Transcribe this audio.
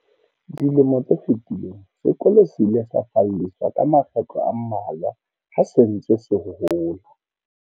Dilemo tse fetileng, sekolo se ile sa falleswa ka makgetlo a mmalwa ha se ntse se hola.